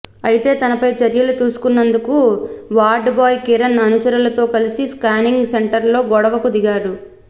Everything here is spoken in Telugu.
అయితే తనపై చర్యలు తీసుకున్నందుకు వార్డ్ బాయ్ కిరణ్ అనుచరులతో కలిసి స్కానింగ్ సెంటర్లో గొడవకు దిగాడు